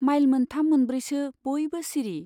Mile मोनथाम मोनब्रैसो बयबो सिरि।